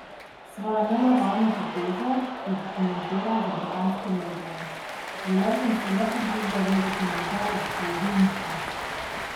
Svojo nenavadno potezo je pokomentiral za britanske medije: "Želel sem si le pobliže ogledati njegov eksplozivni pas.